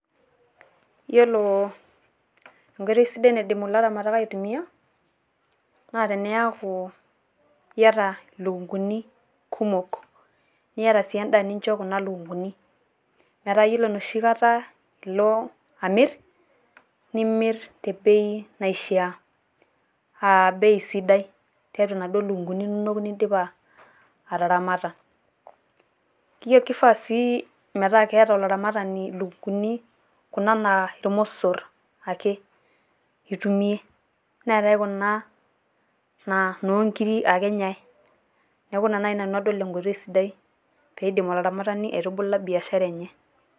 yioolo enkoitoi sidai naidim ilaramatak aitumiaa, naa teneeku iyata ilukunkuni kumok, niata sii edaa nincho kuna lukunkuni. metaa iyiolo enoshi kata ilo amir nimir.te bei naishaa ei sidai. tiatua inaduoo lukunkuni inonok nidipa ataramata. kifaa sii metaa keeta olaramatani ilukunkuni, kuna naa irmosor ake itumie neetae kuna inoo nkiri ake enyae. neeku ina enkoitoi nadol naidim olaramatani aituula biashara enye.